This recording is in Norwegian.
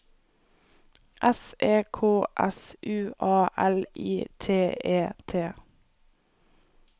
S E K S U A L I T E T